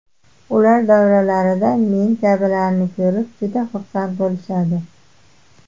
Ular davralarida men kabilarni ko‘rib, juda xursand bo‘lishadi.